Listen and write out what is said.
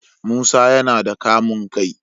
Musa yana da kamun kai